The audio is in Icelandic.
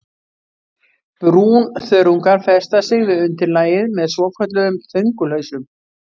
Brúnþörungar festa sig við undirlagið með svokölluðum þöngulhausum.